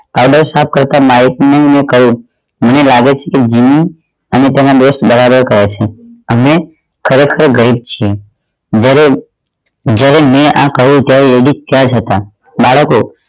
સાફ કરતાં માઇક ને મૈં કહ્યું મને લાગે છે કે હું તમારો દોસ્ત બરાબર કહે છે અને ખરેખર ગઈ જ છે વધારે જ્યારે મૈં આ કહ્યું ત્યારે એ ભી ત્યાં જ હતા બાળકો